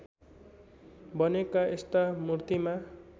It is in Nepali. बनेका यस्ता मूर्तिमा